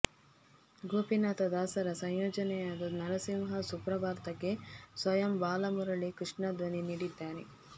ಗೋಪೀನಾಥ ದಾಸರ ಸಂಯೋಜನೆಯಾದ ನರಸಿಂಹ ಸುಪ್ರಭಾತಕ್ಕೆ ಸ್ವಯಂ ಬಾಲಮುರಳಿ ಕೃಷ್ಣ ಧ್ವನಿ ನೀಡಿದ್ದಾರೆ